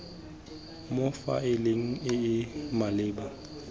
mo faeleng e e maleba